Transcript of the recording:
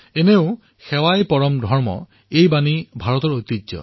এনেও সেৱা পৰমো ধৰ্মঃ ভাৰতৰ ঐতিহ্য